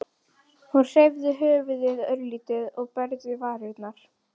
Hún hreyfði höfuðið örlítið og bærði varirnar.